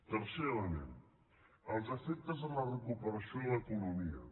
tercer element els efectes de la recuperació de l’economia